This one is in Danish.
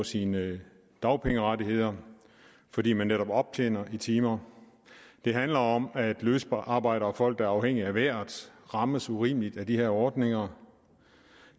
sine dagpengerettigheder fordi man netop optjener i timer det handler om at løsarbejdere og folk der er afhængige af vejret rammes urimeligt af de her ordninger